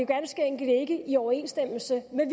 ganske enkelt ikke i overensstemmelse med